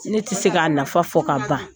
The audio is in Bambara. Ne tI se k'a nafa fɔ ka ban.